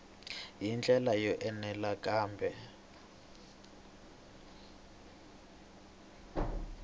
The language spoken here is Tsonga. hi ndlela yo enela kambe